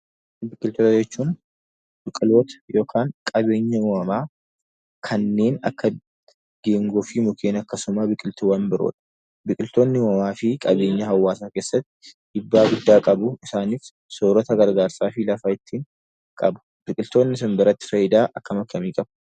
Biqiltoota jechuun biqiloota yookiin qabeenya uumamaa kanneen akka geengoo fi mukkeen akkasuma biqiltuuwwan biroodha. Biqiltoonni uumamaa fi qabeenya hawaasaa keessatti iddoo guddaa qabu. Isaanis soorata gargaarsaa fi lafa ittiin qabu. Biqiltoonni isin biratti faayidaa akkam akkamii qabu?